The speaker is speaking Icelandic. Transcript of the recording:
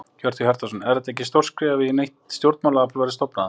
Hjörtur Hjartarson: Er þetta ekki stórt skref í að nýtt stjórnmálaafl verði stofnað?